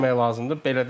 Neynəmək lazımdır?